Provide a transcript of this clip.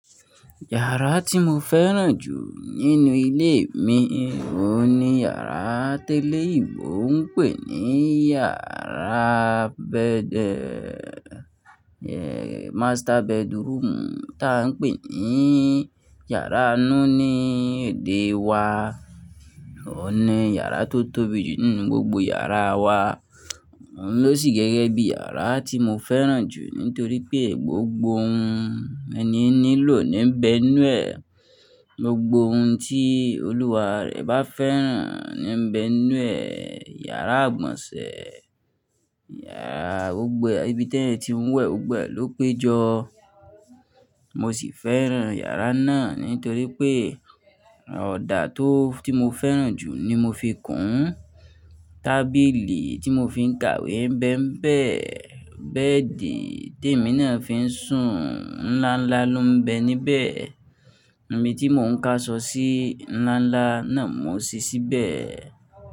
Yàrá tí mo fẹ́ràn jù nínú ilé mi òun ni yàrá teleyi ìbò ń pè ní yàrá bed, yeah, master bedroom tá ń pè ní yàrá inú ní èdè wa. Òun ni yàrá tó tóbi jù nínú gbogbo yàrá wa. Òun ló sì gẹ́gẹ́ bí yàrá tí mo fẹ́ràn jù nítorí pé gbogbo ohun ẹni nílò ní ń bẹ inú ẹ̀, gbogbo ohun tí olúwa rẹ̀ bá fẹ́ràn ní ń bẹ inú ẹ̀. Yàrá àgbọ̀nsẹ̀, yàrá gbogbo ibi tẹ́ẹ̀ tí ń wẹ̀ gbogbo ẹ ló péjọ. Mo sì fẹ́ràn yàrá náà nítorí pé ọ̀dà tó tí mo fẹ́ràn jù ni mo fi kùn ún, tábìlì tí mo fi ń kàwé ń bẹ ń bẹ̀, bẹ́ẹ̀dì tí èmi náà fi ń sùn, ńlá ńlá ló ń bẹ níbẹ̀, omi tí mò ń kà sọ́ọ̀sì ńlá ńlá náà mo ṣí síbẹ̀